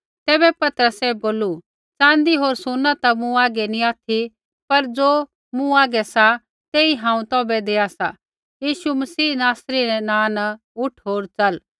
तैबै पतरसै बोलू च़ाँदी होर सुना ता मूँ हागै नी ऑथि पर ज़ो मूँ हागै सा तेई हांऊँ तौभै देआ सा यीशु मसीह नासरी रै नाँ न उठ होर च़ल